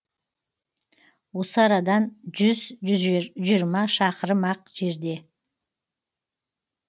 осы арадан жүз жүз жиырма шақырым ақ жерде